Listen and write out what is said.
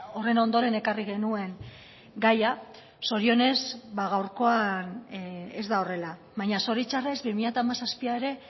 horren ondoren ekarri genuen gaia zorionez gaurkoan ez da horrela baina zoritxarrez bi mila hamazazpia ere